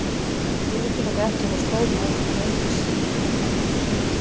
Ég útiloka ekki að fá stór nöfn en einungis ef það hentar.